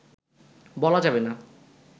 বলা যাবে না